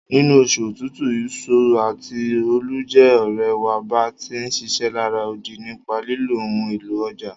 Nínú osù otútù, ìso àti óólù je òrẹ̀ wa bá ti ń ṣiṣẹ́ lará odi nípa lílo ohun élò ọjà.